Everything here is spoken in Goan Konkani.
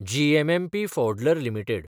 जीएमएमपी फौड्लर लिमिटेड